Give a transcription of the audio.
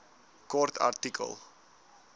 kort artikel